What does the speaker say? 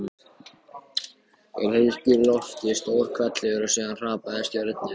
Úr heiðskíru lofti: stór hvellur og síðan hrapandi stjörnur.